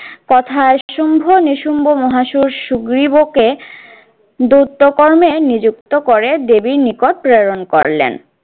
কথায় শুম্ভ নিশুম্ভ মহা সুর সুগ্রীব কে দৈত্য কর্মে নিযুক্ত করে দেবীর নিকট প্রেরণ করলেন।